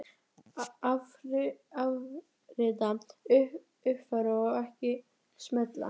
Afrita, uppfæra og ekki smella